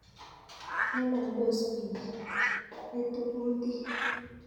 Ngalaldos bik, etu kutit